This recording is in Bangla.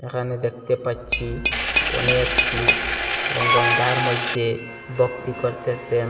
এখানে দেখতে পাচ্ছি অনেক লুক এবং গঙ্গার মইদ্যে বক্তি করতেসেন।